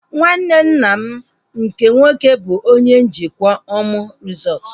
Nwanne nna m nke nwoke bụ onye njikwa Omu resọtu